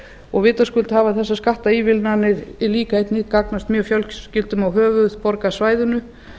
og vitaskuld hafa þessar skattaívilnanir líka gagnast mjög fjölskyldum á höfuðborgarsvæðinu